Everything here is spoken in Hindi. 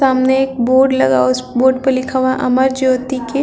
सामने एक बोर्ड लगा हुआ है। उस बोर्ड पर लिखा हुआ है अमर ज्योति के--